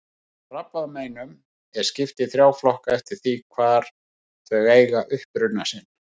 Krabbameinum er skipt í þrjá flokka eftir því hvar þau eiga uppruna sinn.